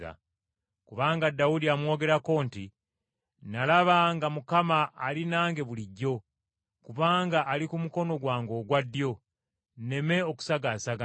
Kubanga Dawudi amwogerako nti, “ ‘Nalaba nga Mukama ali nange bulijjo, kubanga ali ku mukono gwange ogwa ddyo, nneme okusagaasagana.